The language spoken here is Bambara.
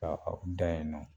Ka aw da yen nɔ